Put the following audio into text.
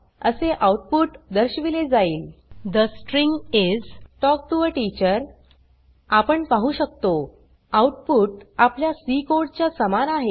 असे आउटपुट दर्शविले जाईल the string is talk to a teacher आपण पाहु शकतो आउटपुट आपल्या सी कोड च्या समान आहे